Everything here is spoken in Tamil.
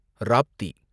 ராப்தி